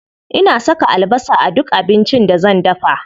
Ina saka albasa a duk abincin da zan dafa.